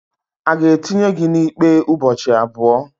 a ga-etinye gị na ikpe ụbọchị abụọ